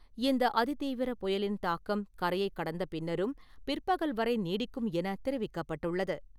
இந்த அதி தீவிர புயலின் தாக்கம் கரையை கடந்த பின்னரும் பிற்பகல் வரை நீடிக்கும் என தெரிவிக்கப்பட்டுள்ளது.